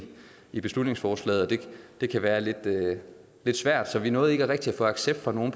i beslutningsforslaget og det kan være lidt svært så vi nåede ikke rigtig at få accept fra nogen